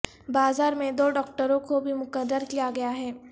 بازار میں دو ڈاکٹروں کو بھی مقرر کیا گیا ہے